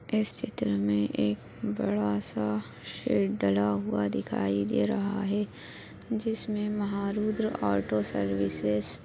इस चित्र मे एक बड़ासा शेड डला हुआ दिखाई दे रहा है जिसमे महारुद्र ऑटो सर्व्हिसेस --